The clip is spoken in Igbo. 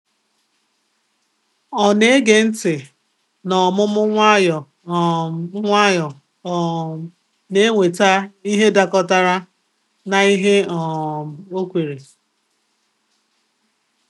Ọ na-ege ntị n’ọmụmụ nwayọ um nwayọ, um na-eweta ihe dakọtara na ihe o um kweere.